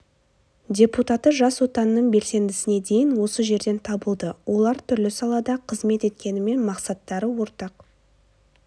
депутаты жас отанның белсендісіне дейін осы жерден табылды олар түрлі салада қызмет еткенімен мақсаттары ортақ